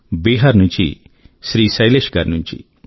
బీహార్ నుంచి శ్రీ శైలేశ్ గారి నుంచి